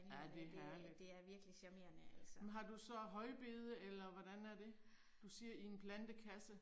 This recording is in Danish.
Ja det er herligt. Men har du så højbede eller hvordan er det? Du siger i en plantekasse?